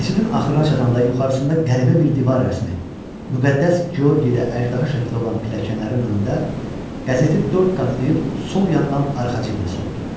Keçidin axırına çatanda yuxarısında qəribə bir divar rəsmi, müqəddəs Georgi ilə əjdaha şəkli olan pilləkənlərin önündə qəzeti dörd qatlayıb sol yandan arxa cibinə soxdu.